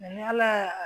ni ala y'a